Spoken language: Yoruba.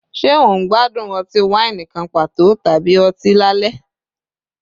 Ṣe o n gbadun ọti-waini kan pato tabi ọti lalẹ?